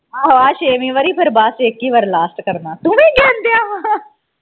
ਆਹੋ ਆ ਛੇਵੀਂ ਵਾਰੀ ਫਿਰ ਬਸ ਇਕ ਹੀ ਵਾਰੀ last ਕਰਨਾ ਤੂੰ ਵੀ ਗਿਣਨ ਡਆ ਸਾਂ